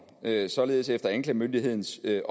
at der med hensyn til